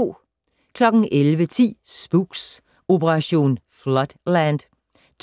11:10: Spooks: Operation Floodland